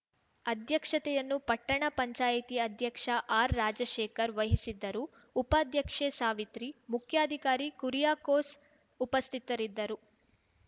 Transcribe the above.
ಅಧ್ಯಕ್ಷತೆಯನ್ನು ಪಟ್ಟಣ ಪಂಚಾಯಿತಿ ಅಧ್ಯಕ್ಷ ಆರ್‌ರಾಜಶೇಖರ್‌ ವಹಿಸಿದ್ದರು ಉಪಾಧ್ಯಕ್ಷೆ ಸಾವಿತ್ರಿ ಮುಖ್ಯಾಧಿಕಾರಿ ಕುರಿಯಾಕೋಸ್‌ ಉಪಸ್ಥಿತರಿದ್ದರು